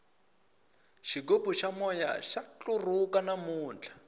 xigubu xa moya xa ntlurhuka namuntlha